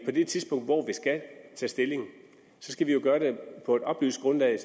på det tidspunkt hvor vi skal tage stilling skal vi jo gøre det på et oplyst grundlag